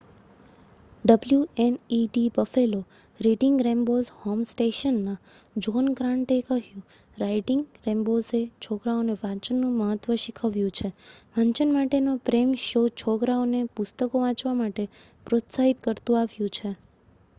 "wned Buffalo reading rainbows home station ના John Grant એ કહ્યું "રાઇડિંગ રેંબોઝએ છોકરાઓને વાચન નું મહત્વ શીખવ્યુ છે,.... વાચન માટે નો પ્રેમ - [શો] છોકરાઓ ને પુસ્તકો વાચવા માટે પ્રોત્સાહિત કરતુ આવ્યુ છે.